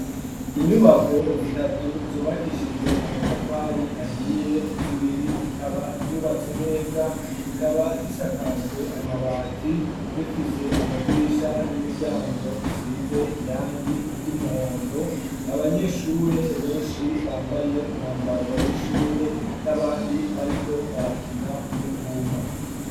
Inyubako zitatu, zubakishijwe amatafari, ahiye, zibiri zikaba, zubatse neza, zikaba zisakajwe amabati, zifise amadirisha n'imiryango, isize irangi ry'umuhondo; abanyeshure benshi, bambaye umwambaro w'ishure, n'abandi bariko barakina, uruvuma.